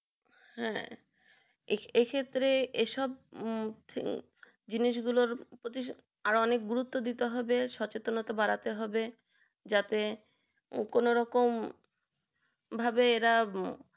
হ্যাঁ এই ক্ষেত্রে এই সব হম জিনিস গুলো প্রতি অনেক গুরুপ্ত দিতে হবে সচেনতা বাড়াতে হবে যাতে কোনো রকম ভাবে এরা